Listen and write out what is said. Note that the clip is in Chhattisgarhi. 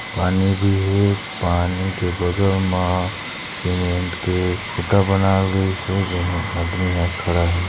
--पानी भी हे पानी के बगल मा सीमेंट के खूँटा बनाइल गइसे जो में आदमी हा खड़ा हे।